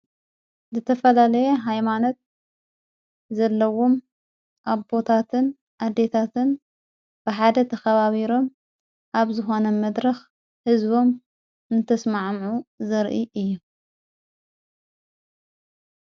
ዝተፈላለየ ኃይማኖት ዘለዉም ኣቦታትን ኣዴታትን ብሓደ ተኸባቢሮም ኣብ ዝኾነ መድረኽ ሕዝቦም እንተስማዓምዑ ዘርኢ እየ።